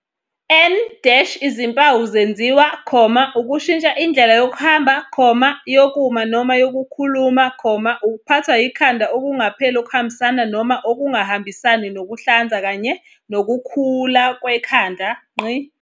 N - Izimpawu zezinzwa, ukushintsha indlela yokuhamba, yokuma noma yokukhuluma, ukuphathwa ikhanda okungapheli okuhambisana noma okungahambisani nokuhlanza kanye nokukhula kwekhanda.